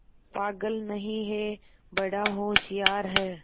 पागल नहीं हैं बड़ा होशियार है